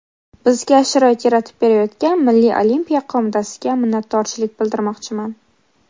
Bizga sharoit yaratib berayotgan Milliy olimpiya qo‘mitasiga minnatdorchilik bildirmoqchiman.